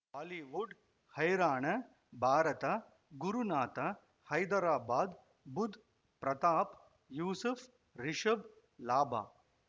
Bollywood ಹೈರಾಣ ಭಾರತ ಗುರುನಾಥ ಹೈದರಾಬಾದ್ ಬುಧ್ ಪ್ರತಾಪ್ ಯೂಸುಫ್ ರಿಷಬ್ ಲಾಭ